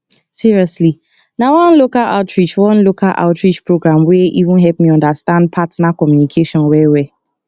seriously na one local outreach one local outreach program wey even help me understand partner communication well well